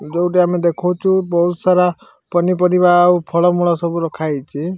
ଯୋଉଟି ଆମେ ଦେଖଉଚୁ ବହୁତ୍ ସାରା ପନିପରିବା ଆଉ ଫଳ-ମୂଳ ସବୁ ରଖାହେଇଚି।